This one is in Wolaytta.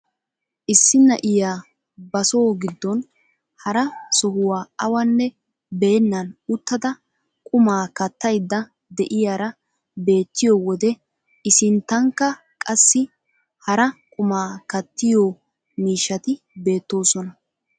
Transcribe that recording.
Issi na'iyaa ba so giddon hara sohuwaa awanne beennan uttada qumaa kattayda de'iyaara beettiyoo wode i sinttankka qassi hara qumaa kattiyoo miishshati beettoosona.